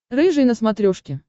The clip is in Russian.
рыжий на смотрешке